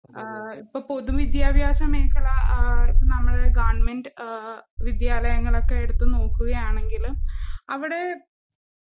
ആഹ് ഇപ്പ പൊതുവിദ്യാഭാസമേഖല ആഹ് ഇപ്പ നമ്മുടെ ഗവണ്മെന്റ് ഏഹ് വിദ്യാലയങ്ങളൊക്കെ എടുത്ത്നോക്കുകയാണെങ്കിലും അവിടേ